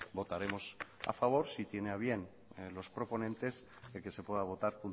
votaremos a favor si tiene a bien los proponentes el que se pueda votar